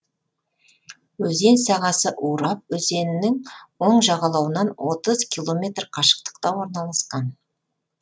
өзен сағасы урап өзенінің оң жағалауынан отыз километр қашықтықта орналасқан